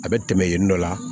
A bɛ tɛmɛ yen nɔ